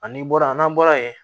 Ani bɔra n'an bɔra yen